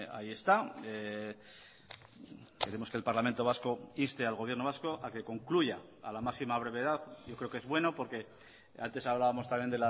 ahí está queremos que el parlamento vasco inste al gobierno vasco a que concluya a la máxima brevedad yo creo que es bueno porque antes hablábamos también